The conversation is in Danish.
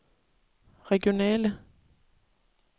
regionale